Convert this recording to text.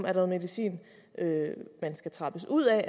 er noget medicin man skal trappes ud af